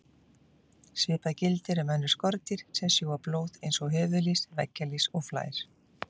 Svipað gildir um önnur skordýr sem sjúga blóð eins og höfuðlýs, veggjalýs og flær.